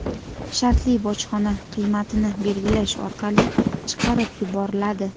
shartli bojxona qiymatini belgilash orqali chiqarib yuboriladi.